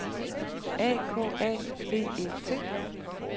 A K A V E T